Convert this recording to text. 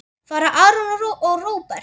Fara Aron og Róbert?